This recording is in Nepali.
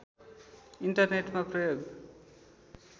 इन्टरनेटमा प्रयोग